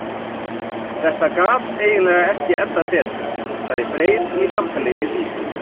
Þetta gat eiginlega ekki endað betur, sagði Freyr í samtali við Vísi.